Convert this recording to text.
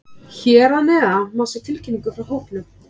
Hér að neðan má sjá tilkynningu frá hópnum.